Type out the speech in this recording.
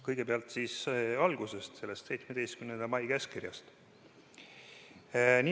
Kõigepealt algusest, sellest 17. mai käskkirjast.